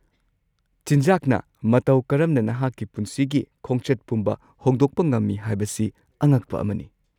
ꯆꯤꯟꯖꯥꯛꯅ ꯃꯇꯧ ꯀꯔꯝꯅ ꯅꯍꯥꯛꯀꯤ ꯄꯨꯟꯁꯤꯒꯤ ꯈꯣꯡꯆꯠ ꯄꯨꯝꯕ ꯍꯣꯡꯗꯣꯛꯄ ꯉꯝꯃꯤ ꯍꯥꯏꯕꯁꯤ ꯑꯉꯛꯄ ꯑꯃꯅꯤ꯫